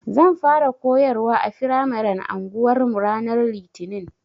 Zan fara koyarwa a firamaren anguwarmu ranar Litinin.